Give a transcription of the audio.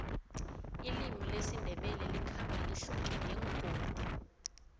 ilimi lesindebele likhamba lihluke ngengodi